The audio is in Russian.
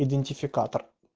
идентификатор